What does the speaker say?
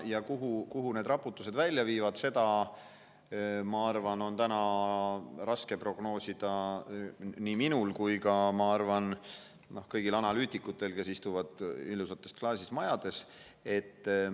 Kuhu need raputused välja viivad, seda on täna raske prognoosida nii minul kui ka, ma arvan, kõigil analüütikutel, kes istuvad ilusates klaasist majades.